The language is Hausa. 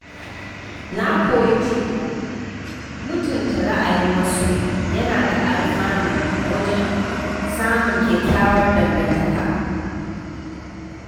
Na koyi cewa mutunta ra’ayin wasu yana da alfanu wajen samun kyakkyawar dangantaka.